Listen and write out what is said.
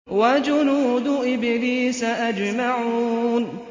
وَجُنُودُ إِبْلِيسَ أَجْمَعُونَ